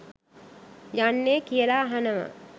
යන්නේ කියලා අහනවා.